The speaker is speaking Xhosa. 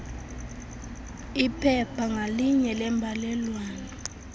iphepha ngalinye lembalelwano